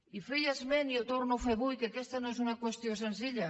i feia esment i en torno a fer avui del fet que aquesta no és una qüestió senzilla